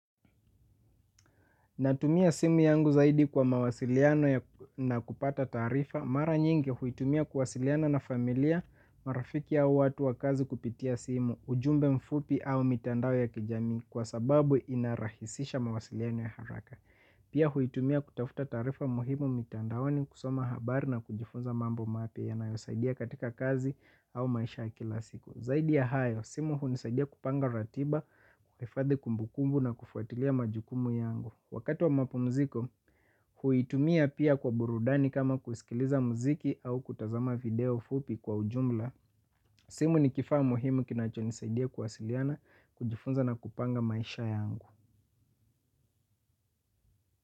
Natumia simu yangu zaidi kwa mawasiliano na kupata taarifa. Mara nyingi huitumia kuwasiliana na familia, marafiki au watu wa kazi kupitia simu, ujumbe mfupi au mitandao ya kijamii kwa sababu inarahisisha mawasiliano ya haraka. Pia huitumia kutafuta taarifa muhimu mitandaoni kusoma habari na kujifunza mambo mapya yanayosaidia katika kazi au maisha ya kila siku. Zaidi ya hayo, simu hunisaidia kupanga ratiba, kuhifadhi kumbu kumbu na kufuatilia majukumu yangu. Wakati wa mapumziko, huitumia pia kwa burudani kama kusikiliza muziki au kutazama video fupi kwa ujumla. Simu ni kifaa muhimu kinachonisaidia kuwasiliana, kujifunza na kupanga maisha yangu.